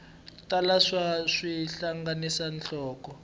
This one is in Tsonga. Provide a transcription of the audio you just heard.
tala naswona xi hlanganisa nhloko